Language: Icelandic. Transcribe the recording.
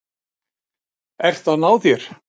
Ert að ná þér.